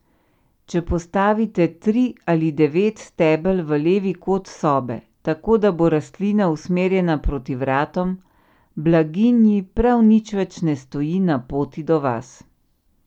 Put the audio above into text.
Če postavite tri ali devet stebel v levi kot sobe, tako da bo rastlina usmerjena proti vratom, blaginji prav nič več ne stoji na poti do vas.